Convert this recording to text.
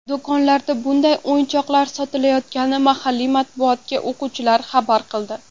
Do‘konlarda bunday o‘yinchoqlar sotilayotganini mahalliy matbuotga o‘quvchilar xabar qildi.